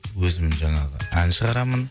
өзім жаңағы ән шығарамын